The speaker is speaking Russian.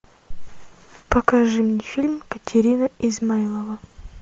покажи мне фильм катерина измайлова